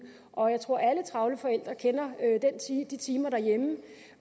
og jeg tror at alle travle forældre kender de timer derhjemme